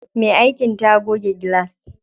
Me aikin ta goge gilas.